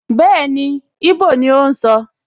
Bẹ́ẹ̀ni, íbò ni ó ń sọ